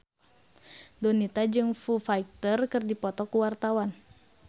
Donita jeung Foo Fighter keur dipoto ku wartawan